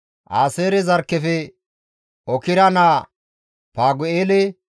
Aaseere zarkkefe Okra naa Fagu7eele,